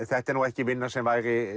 þetta er ekki vinna sem